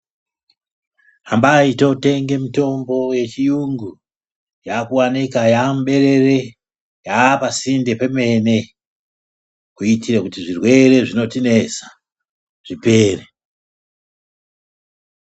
Hambai totenge mitombo yechiyungu yakuwanikwa yamuberere yapasinde pemene kuitire zvirwere zvinotinesa zvipere.